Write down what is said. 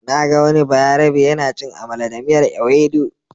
Na ga wani bayarabe yana cin amala da miyar Ewedu.